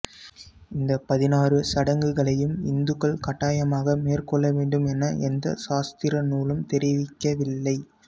இந்த பதினாறு சடங்குகளையும் இந்துக்கள் கட்டாயமாக மேற்கொள்ளவேண்டும் என எந்த சாஸ்திரநூலும் தெரிவிக்கவில்லை